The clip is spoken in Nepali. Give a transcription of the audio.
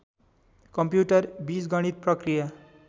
कम्प्युटर बीजगणित प्रक्रिया